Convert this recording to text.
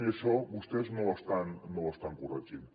i això vostès no ho estan corregint